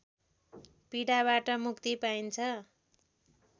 पीडाबाट मुक्ति पाइन्छ